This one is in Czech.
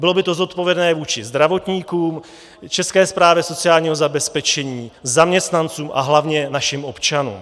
Bylo by to zodpovědné vůči zdravotníkům, České správě sociálního zabezpečení, zaměstnancům a hlavně našim občanům.